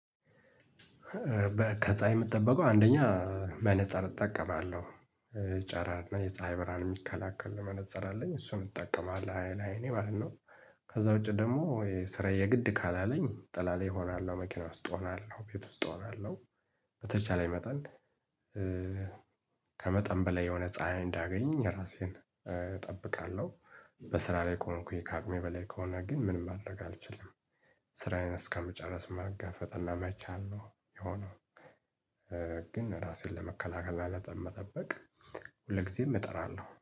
በከፀሀይ የምትጠብቀው አንደኛ መነፃር እጠቀማለሁ ጨራር እና የፀሀይ ብርሃን የሚከላከል ለመነፀር አለኝ እሱን እጠቀማለሁ ለአይኔ ማለት ነው። ከዛ ውጪ ደግሞ ስራዬ የግድ ካላለኝ ጥላላ እሆናለሁ መኪና ውስጥ እሆናለሁ ቤት ውስጥ እሆናለሁ። በተቻለኝ መጠን። ከመጠን በላይ የሆነ ፀሀይ እንዳያገኝ ራሴን እጠብቃለሁ። በስራ ላይ ከሆንኩኝ ካቅሜ በላይ ከሆነ ግን ምን ማድረግአልችልም። ስራዬን እስከምጨርስ መጋፈጥ እና መቻል ነው የሚሆነው። ግን ራሴን ለመከላከል እና ለጠበቅ ሁል ጊዜም እጥራለሁ